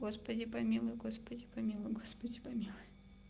господи помилуй господи помилуй господи помилуй